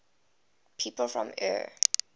people from eure